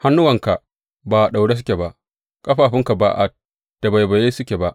Hannuwanka ba a daure suke ba, ƙafafunka ba a tabaibaye suke ba.